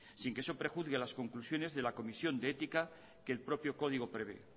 sin que eso prejuzgue a las conclusiones de la comisión de ética que el propio código prevé